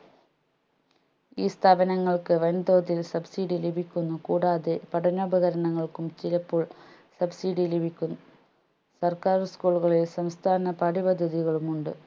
ഈ സ്ഥാപനങ്ങൾക്ക് വൻതോതിൽ subsidy ലഭിക്കുന്നു കൂടാതെ പഠനോപകാരണങ്ങൾക്കും ചിലപ്പോൾ subsidy ലഭിക്കും സർക്കാർ school കളിൽ സംസ്ഥാന പാഠ്യപദ്ധതികളും ഉണ്ട്